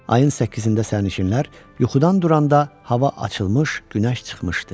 Ayın səkkizində sərnişinlər yuxudan duranda hava açılmış, günəş çıxmışdı.